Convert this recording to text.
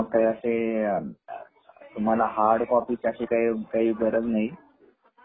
तर मग अस तुम्हाला हार्ड कॉपी साठी काही गरज नाही